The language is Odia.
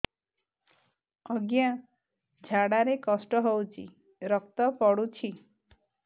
ଅଜ୍ଞା ଝାଡା ରେ କଷ୍ଟ ହଉଚି ରକ୍ତ ପଡୁଛି